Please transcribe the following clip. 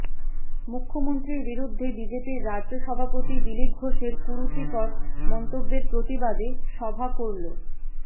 মুখ্যমন্ত্রীর বিরুদ্ধে বিজেপির রাজ্য সভাপতি দিলীপ ঘোষের কুরুচিকর মন্তব্যের প্রতিবাদে সভা করল